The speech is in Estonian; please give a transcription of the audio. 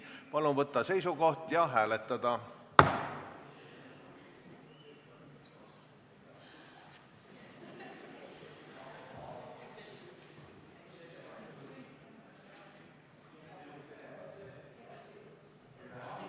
Palun võtta seisukoht ja hääletada!